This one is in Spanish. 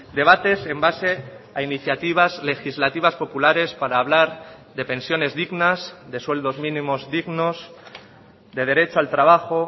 debates en base a iniciativas legislativas populares para hablar de pensiones dignas de sueldos mínimos dignos de derecho al trabajo